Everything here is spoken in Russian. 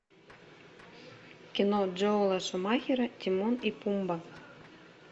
кино джоэла шумахера тимон и пумба